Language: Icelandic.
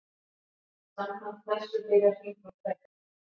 Samkvæmt þessu byrjar hringur hvergi.